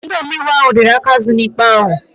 Ndị omeiwu ahụ riri aka azụ n'ikpe ahụ